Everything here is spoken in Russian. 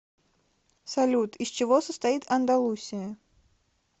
салют из чего состоит андалусия